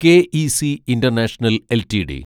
K E C international LTD